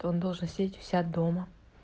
то он должен сидеть у себя дома